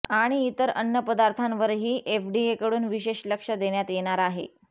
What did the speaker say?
आणि इतर अन्न पदार्थांवरही एफडीएकडून विशेष लक्ष देण्यात येणार आहे